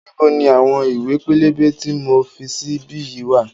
Níbo ni àwọn ìwé pélébé tí mo fi sí bí yìí wá?